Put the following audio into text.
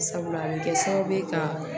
Sabula a bɛ kɛ sababu ye ka